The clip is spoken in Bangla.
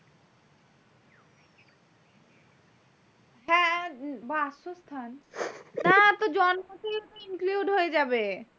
হ্যাঁ বাসস্থান না তোর জন্ম থেকেই include হয়ে যাবে।